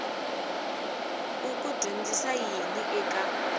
u ku dyondzisa yini eka